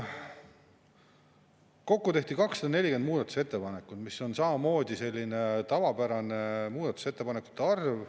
Kokku tehti 240 muudatusettepanekut, mis on samamoodi selline tavapärane muudatusettepanekute arv.